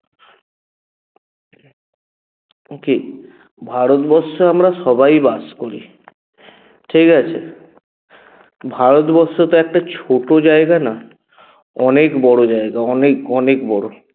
কী? ভারতবর্ষে আমরা সবাই বাস করি ঠিকাছে? ভারতবর্ষ তো একটা ছোট জায়গা না অনেক বড় জায়গা অনেক অনেক বড়